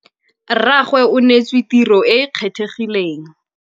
Rrragwe o neêtswe tirô e e kgethegileng.